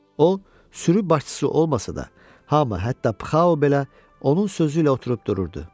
O sürü başçısı olmasa da, hamı hətta pxao belə onun sözü ilə oturub dururdu.